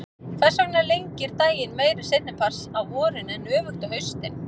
Hvers vegna lengir daginn meira seinni part dags á vorin en öfugt á haustin?